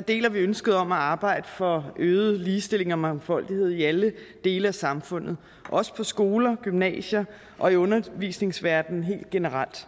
deler vi ønsket om at arbejde for øget ligestilling og mangfoldighed i alle dele af samfundet også på skoler gymnasier og i undervisningsverdenen helt generelt